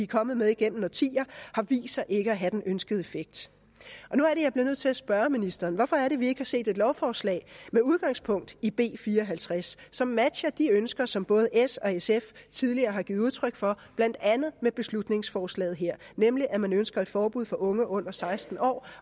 kommet med igennem årtier har vist sig ikke at have den ønskede effekt nu er det jeg bliver nødt til at spørge ministeren hvorfor er det vi ikke har set et lovforslag med udgangspunkt i b fire og halvtreds som matcher de ønsker som både s og sf tidligere har givet udtryk for blandt andet med beslutningsforslaget her nemlig at man ønsker et forbud for unge under seksten år